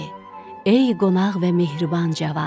Ey qonaq və mehriban cavan.